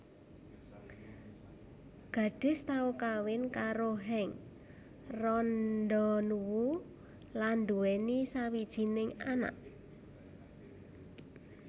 Gadis tau kawin karo Henk Rondonuwu lan duweni sawijining anak